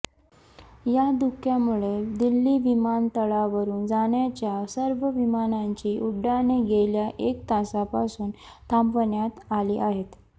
या धुक्यामुळे दिल्ली विमानतळावरून जाणाऱ्या सर्व विमानांची उड्डाणे गेल्या एक तासापासून थांबवण्यात आली आहेत